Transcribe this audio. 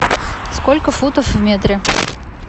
сколько футов в метре